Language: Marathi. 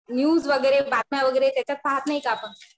न्यूज वगैरे बातम्या वगैरे त्याच्यात पाहत नाही का आपण.